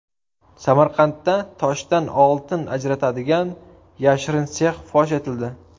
Samarqandda toshdan oltin ajratadigan yashirin sex fosh etildi.